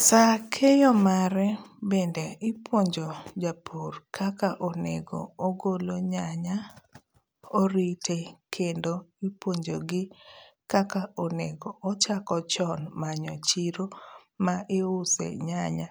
Saa keyo mare bende ipuonjo japur kaka onego ogolo nyanya, orite kendo ipuonjo gi kaka onego ochako chon manyo chiro ma iuse nyanya.